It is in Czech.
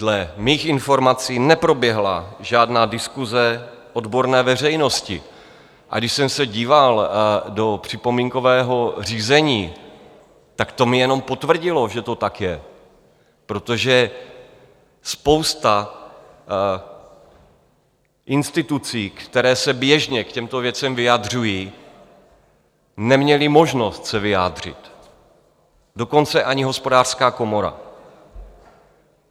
Dle mých informací neproběhla žádná diskuse odborné veřejnosti, a když jsem se díval do připomínkového řízení, tak to mi jenom potvrdilo, že to tak je, protože spousta institucí, které se běžně k těmto věcem vyjadřují, neměla možnost se vyjádřit, dokonce ani Hospodářská komora.